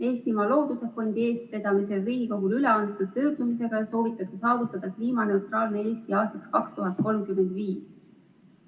Eestimaa Looduse Fondi eestvedamisel Riigikogule üleantud pöördumises soovitakse saavutada kliimaneutraalne Eesti aastaks 2035.